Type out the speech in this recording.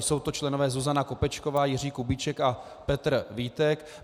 Jsou to členové Zuzana Kopečková, Jiří Kubíček a Petr Vítek.